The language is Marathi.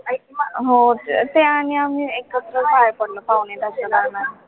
हो अं ते आणि आम्ही एकत्र बाहेर पडलो पावणे दहाच्या दरम्यान